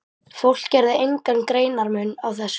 Fólk gerði engan greinarmun á þessu.